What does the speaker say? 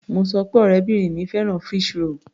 Mo sọ pé ọ̀rẹ́bìrin mi fẹ́ràn fish roll.